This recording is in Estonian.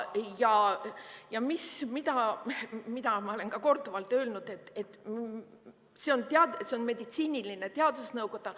Ja ma olen ka korduvalt öelnud, et see on meditsiiniline teadusnõukoda.